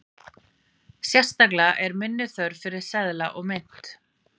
Sérstaklega er minni þörf fyrir seðla og mynt.